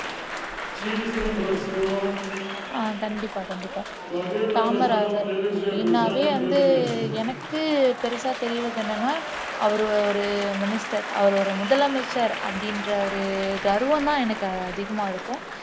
ஆஹ் கண்டிப்பா கண்டிப்பா காமராஜர் அப்படின்னாவே வந்து எனக்கு பெருசா தெரியிறது என்னன்னா அவர் ஒரு minister அவர் ஒரு முதலமைச்சர் அப்படின்ற கர்வம்தான் எனக்கு அதிகமா இருக்கும்